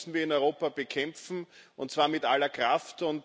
Das müssen wir in Europa bekämpfen und zwar mit aller Kraft.